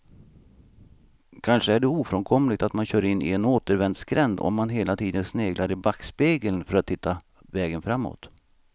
Kanske är det ofrånkomligt att man kör in i en återvändsgränd om man hela tiden sneglar i backspegeln för att hitta vägen framåt.